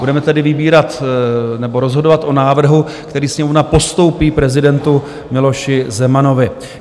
Budeme tedy vybírat nebo rozhodovat o návrhu, který Sněmovna postoupí prezidentu Miloši Zemanovi.